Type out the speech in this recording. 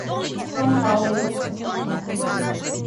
сан паулу